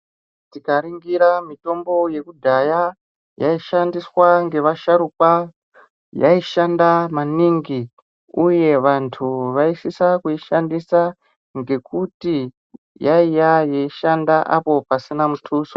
Tikaningira mitombo yekudhaya yaishandiswa nevasharukwa yaishanda maningi Uye vantu vaisisa kuishandisa ngekuti yaiva yeishanda pasina mutuso.